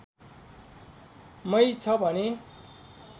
मै छ भने